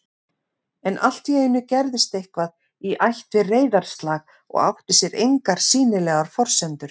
En alltíeinu gerðist eitthvað í ætt við reiðarslag og átti sér engar sýnilegar forsendur